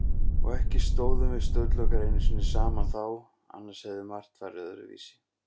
Og ekki stóðum við Sturlungar einu sinni saman þá, annars hefði margt farið öðruvísi.